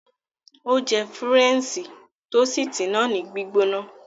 Ó jẹ Fúrẹ́ńṣí toosìtì náà ní gbígbóná.